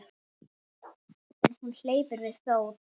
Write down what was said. En hún hleypur við fót.